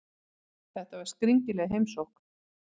Þetta var skringileg heimsókn.